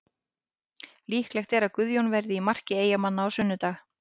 Líklegt er að Guðjón verði í marki Eyjamanna á sunnudag.